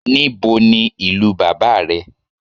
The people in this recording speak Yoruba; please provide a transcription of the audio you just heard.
Níbo ní ìlú bàbá rẹ̀